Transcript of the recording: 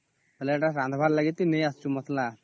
ଓହୋ ଏଟା ରାନ୍ଧିବା ପାଇଁ ଆଣିବାକୁ ଯାଇଛୁ ମସଲା